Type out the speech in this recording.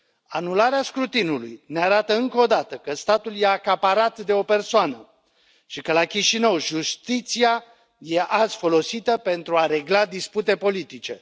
Anularea scrutinului ne arată, încă o dată, că statul este acaparat de o persoană și că, la Chișinău, justiția este azi folosită pentru a regla dispute politice.